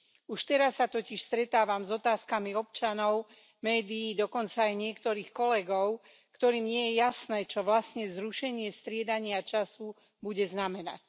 Už teraz sa totiž stretávam s otázkami občanov, médií, dokonca aj niektorých kolegov, ktorým nie je jasné, čo vlastne zrušenie striedania času bude znamenať.